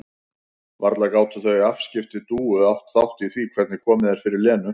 Varla gátu þau afskipti Dúu átt þátt í því hvernig komið er fyrir Lenu?